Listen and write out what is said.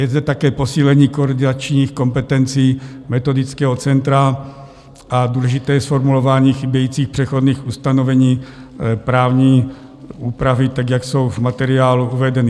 Je zde také posílení koordinačních kompetencí metodického centra a důležité je zformulování chybějících přechodných ustanovení právní úpravy tak, jak jsou v materiálu uvedeny.